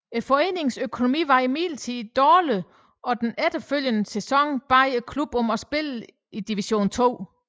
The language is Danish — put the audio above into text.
Foreningens økonomi var imidlertid dårlig og den følgende sæson bad klubben om at spille i Division 2